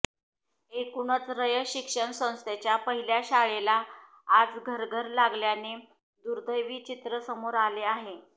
एकूणच रयत शिक्षण संस्थेच्या पहिल्या शाळेला आज घरघर लागल्याचे दुर्दैवी चित्र समोर आले आहे